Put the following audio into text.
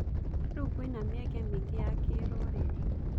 Rĩu kwĩna mĩeke mĩingĩ ya kĩrũrĩrĩ.